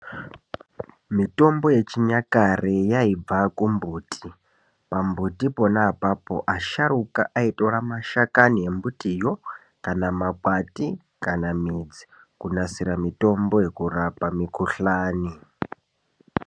Mitombo yechinyakare yaibva kumbuti pambuti pona apapo asharuka aitora mashakani embutiyo kana makwati kana midzi kunasire mitombo yekurapa mikuhlani.